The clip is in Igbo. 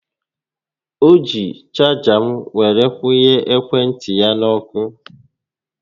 O jiiri chaga m were kwụnye ekwe ntị ya n'ọkụ